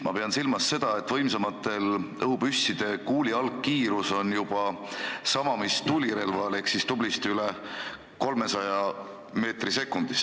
Ma pean silmas seda, et võimsamate õhupüsside kuuli algkiirus on juba sama mis tulirelval ehk siis tublisti üle 300 meetri sekundis.